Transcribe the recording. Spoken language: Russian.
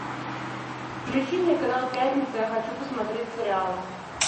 включи мне канал пятница я хочу посмотреть сериал